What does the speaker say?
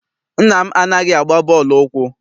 Nna m anaghị agba bọọlụ ụkwụ.